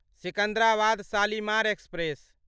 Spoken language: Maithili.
सिकंदराबाद शालिमार एक्सप्रेस